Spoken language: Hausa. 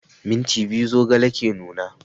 Minti biyu zogale ke nuna